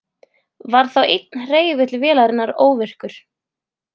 Var þá einn hreyfill vélarinnar óvirkur